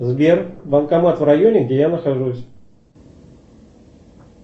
сбер банкомат в районе где я нахожусь